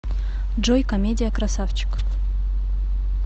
джой комедия красавчик